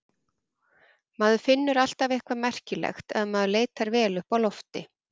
Maður finnur alltaf eitthvað merkilegt ef maður leitar vel uppi á lofti.